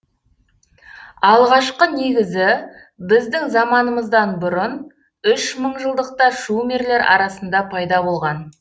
алғашқы негізі біздің заманымыздан бұрын үш мыңжылдықта шумерлер арасында пайда болған